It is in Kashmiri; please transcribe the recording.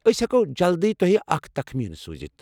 أسۍ ہیٚکو جلدی تۄہہِ اکھ تخمینہٕ سوُزِتھ ۔